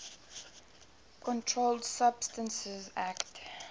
controlled substances acte